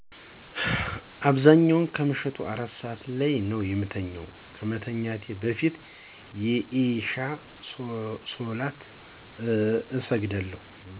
በአብዛኛው ከምሸቱ 4 ሰዐት ላይ ነው የምተኛው። ከመተኛቴ በፊት የኢሻ ሶላት እሰግዳለሁ።